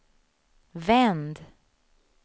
vänd